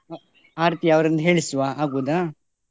ಆ ರೀತಿ ಅವರನ್ನು ಹೇಳಿಸುವ ಆಗ್ಬಹುದಾ?